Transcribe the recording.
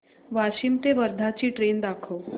वाशिम ते वर्धा ची ट्रेन दाखव